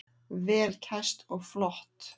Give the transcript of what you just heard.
Vel kæst og flott.